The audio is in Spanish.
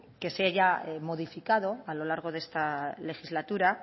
que se haya modificado a lo largo de esta legislatura